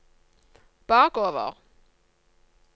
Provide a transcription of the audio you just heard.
bakover